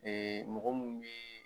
mɔgɔ minnu bɛ